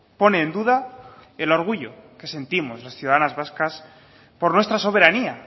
pone en duda el orgullo que sentimos las ciudadanas vascas por nuestra soberanía